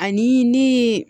Ani ne ye